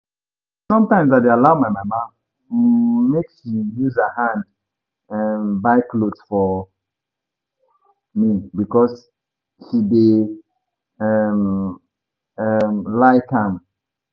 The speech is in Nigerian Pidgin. Sometimes I dey allow my mama um make she use her hand um buy cloth for me because she dey um um like am